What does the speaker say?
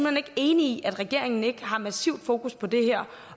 hen ikke enig i at regeringen ikke har massivt fokus på det her